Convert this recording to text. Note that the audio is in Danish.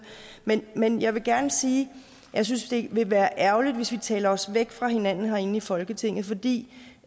men men jeg vil gerne sige at jeg synes det ville være ærgerligt hvis vi talte os væk fra hinanden her i folketinget fordi